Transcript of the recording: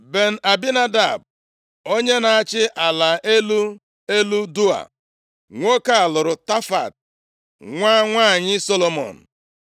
Ben-Abinadab, onye na-achị ala elu elu Doa. Nwoke a lụrụ Tafat, nwa nwanyị Solomọn.